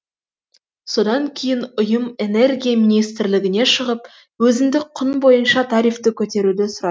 содан кейін ұйым энергия министрлігіне шығып өзіндік құн бойынша тарифті көтеруді сұрайды